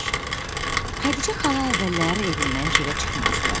Xədicə xala əvvəllər evindən çölə çıxmazdı.